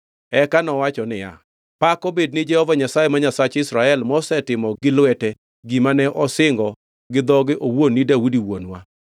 Eka nowacho niya, “Pak obed ne Jehova Nyasaye, ma Nyasach Israel, mosetimo gi lwete gima ne osingo gi dhoge owuon ni Daudi wuonwa.